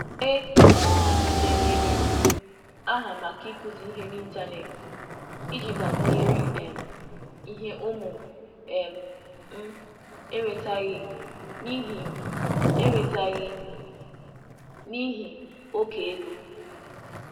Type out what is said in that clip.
E denyere m aha maka ịkụzi ihe n'Ịntanet iji gbakwunyere um ihe ụmụ um m enwetaghị n'ihi m enwetaghị n'ihi oke ego.